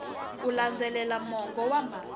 ku landzelela mongo wa mhaka